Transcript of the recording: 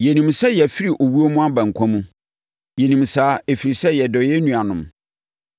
Yɛnim sɛ yɛafiri owuo mu aba nkwa mu. Yɛnim saa, ɛfiri sɛ, yɛdɔ yɛn nuanom.